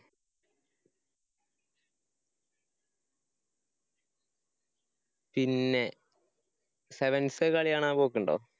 പിന്നെ sevens കളികാണാൻ പോക്കുണ്ടോ?